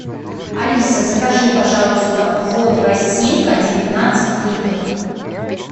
алиса закажи пожалуйста воду росинка девятнадцать литров